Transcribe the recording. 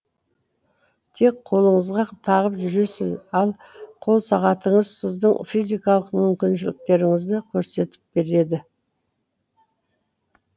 тек қолыңызға тағып жүресіз ал қолсағатыңыз сіздің физикалық мүмкіншіліктеріңзді көрсетіп береді